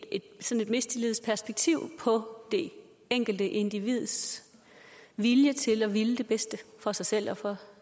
mistillidsperspektiv på det enkelte individs vilje til at ville det bedste for sig selv og for